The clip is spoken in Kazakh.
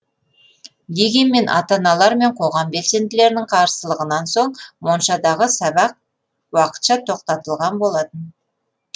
дегенмен ата аналар мен қоғам белсенділерінің қарсылығынан соң моншадағы сабақ уақытша тоқтатылған болатын